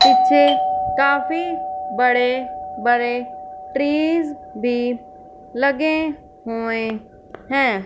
पीछे काफी बड़े बड़े ट्रीज भी लगे हुए हैं।